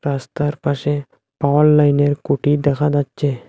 রাস্তার পাশে পাওয়ার লাইনের কুটি দেখা যাচ্ছে।